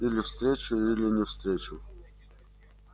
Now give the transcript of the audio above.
или встречу или не встречу